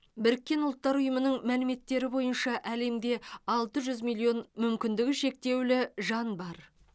біріккен ұлттар ұйымының мәліметтері бойынша әлемде алты жүз миллион мүмкіндігі шектеулі жан бар